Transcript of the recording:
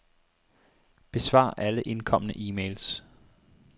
Besvar alle indkomne e-mails.